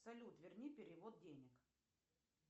салют верни перевод денег